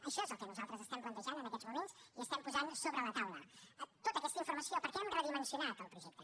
això és el que nosaltres estem plantejant en aquests moments i estem posant sobre la taula tota aquesta informació perquè hem redimensionat el projecte